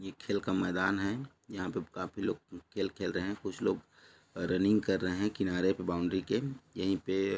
एक ग्राउंड है उसमें लोग खेल रहे हैं उसके सामने एक रोड है।